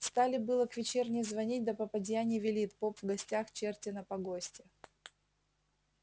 стали было к вечерне звонить да попадья не велит поп в гостях черти на погосте